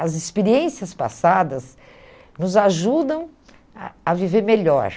As experiências passadas nos ajudam a a viver melhor.